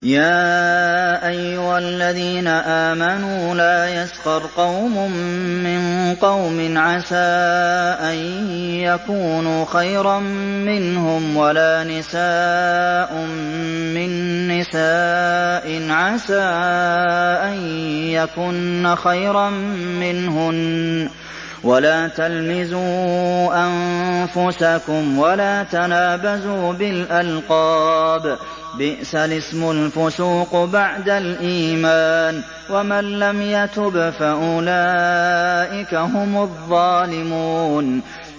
يَا أَيُّهَا الَّذِينَ آمَنُوا لَا يَسْخَرْ قَوْمٌ مِّن قَوْمٍ عَسَىٰ أَن يَكُونُوا خَيْرًا مِّنْهُمْ وَلَا نِسَاءٌ مِّن نِّسَاءٍ عَسَىٰ أَن يَكُنَّ خَيْرًا مِّنْهُنَّ ۖ وَلَا تَلْمِزُوا أَنفُسَكُمْ وَلَا تَنَابَزُوا بِالْأَلْقَابِ ۖ بِئْسَ الِاسْمُ الْفُسُوقُ بَعْدَ الْإِيمَانِ ۚ وَمَن لَّمْ يَتُبْ فَأُولَٰئِكَ هُمُ الظَّالِمُونَ